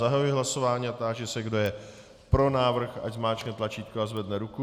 Zahajuji hlasování a táži se, kdo je pro návrh, ať zmáčkne tlačítko a zvedne ruku.